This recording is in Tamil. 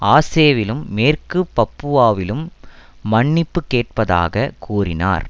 ஆசேவிலும் மேற்கு பப்புவாவிலும் மன்னிப்பு கேட்பதாக கூறினார்